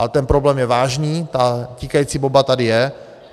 Ale ten problém je vážný, ta tikající bomba tady je.